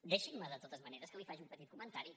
deixi’m de totes maneres que li faci un comentari